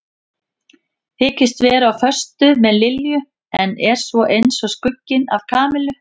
Þykist vera á föstu með Lilju en er svo eins og skugginn af Kamillu.